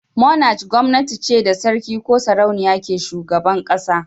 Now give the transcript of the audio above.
"Monarch" gwamnati ce da sarki ko sarauniya ke shugaban kasa.